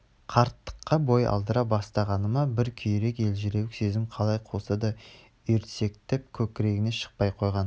қарттыққа бой алдыра бастағаны ма бір күйрек елжіреуік сезім қалай қуса да үйрсектеп көкрегінен шықпай қойған